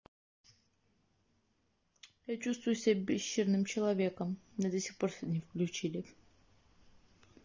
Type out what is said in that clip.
я чувствую себя пещерным человеком меня до сих пор сюда не включили